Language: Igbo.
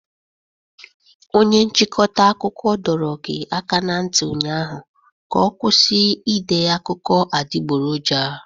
Onye nchịkọta akụkọ dọrọ gi aka ná ntị ụnyaahụ ka ọ kwụsị ide akụkọ adịgboroja!